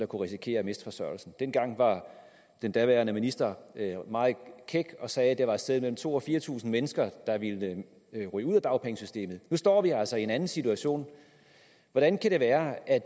kunne risikere at miste forsørgelsen dengang var den daværende minister meget kæk og sagde at det var et sted mellem to tusind og fire tusind mennesker der ville ryge ud af dagpengesystemet nu står vi altså i en anden situation hvordan kan det være at